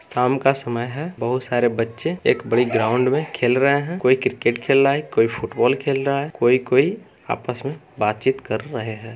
शाम का समय है बहुत सारे बच्चे एक बड़े ग्राउंड में खेल रहे हैं कोई क्रिकेट खेल रहा है कोई फुटबॉल खेल रहा है कोई-कोई आपस मे बातचीत कर रहे हैं।